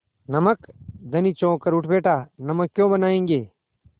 नमक धनी चौंक कर उठ बैठा नमक क्यों बनायेंगे